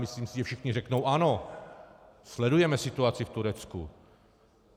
Myslím si, že všichni řeknou ano, sledujeme situaci v Turecku.